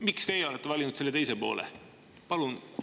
Miks teie olete valinud selle teise?